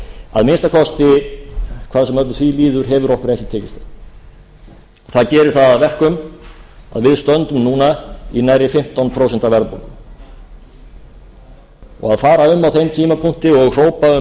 að minnsta kosti hvað sem því líður hefur okkur ekki tekist það það gerir það að verkum að við stöndum núna í nærri fimmtán prósent verðbólgu og að fara um á þeim tímapunkti og hrópa um